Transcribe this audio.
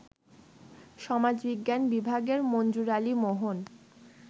সমাজবিজ্ঞান বিভাগের মনজুর আলী মোহন